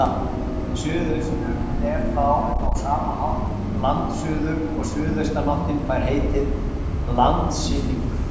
Suðaustur er þá á sama hátt landsuður og suðaustanáttin fær heitið landsynningur.